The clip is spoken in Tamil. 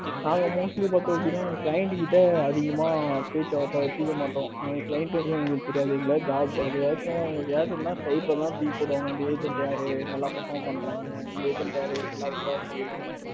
நாங்க mostly பார்த்தீங்கன்னா client கிட்ட அதிகமா பேச்சு வார்த்தை வச்சுக்க மாட்டோம். client வச்சு எங்களுக்கு தெரியாது. ஏதாவது job ஏதாவது செய்யணும்னா skype தான் தூக்கி போடுவாங்க இந்த agent யாரு நல்லா perform பண்றாங்க இந்த agent யாரு நல்லா perform பண்ணல